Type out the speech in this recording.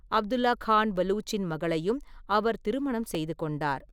அப்துல்லா கான் பலூச்சின் மகளையும் அவர் திருமணம் செய்து கொண்டார்.